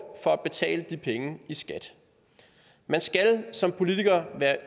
for at betale de penge i skat man skal som politiker være